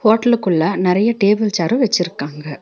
ஹோட்டலுக்குள்ள நெறைய table chair வெச்சிருக்காங்க.